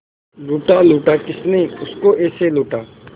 लूटा लूटा किसने उसको ऐसे लूटा